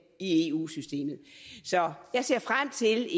i eu systemet så jeg ser frem til